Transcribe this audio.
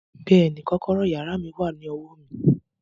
Bẹ́ẹ̀ni, kọ́kọ́rọ́ yàrá mi wà ní ọwọ́ mi